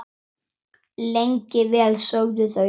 Lengi vel sögðu þau ekkert.